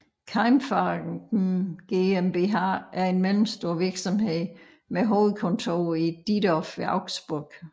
Keimfarben GmbH er en mellemstor virksomhed med hovedkontor i Diedorf ved Augsburg